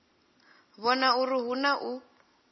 vhona uri hu na u